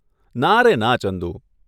ના રે ના ચંદુ.